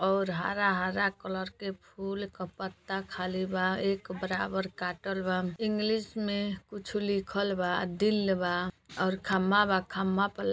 और हरा-हरा कलर के फूल क पत्ता खाली बा एक बराबर काटल बा। इंग्लिश में कुछ लिखल बा दिल बा और खम्मा बा खम्मा पर लाइट --